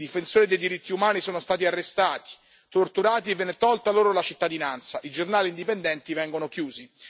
I difensori dei diritti umani sono stati arrestati, torturati e viene tolta loro la cittadinanza, e i giornali indipendenti vengono chiusi.